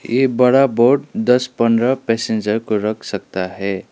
ये बड़ा बोट दस पंद्रह पैसेंजर को रख सकता है।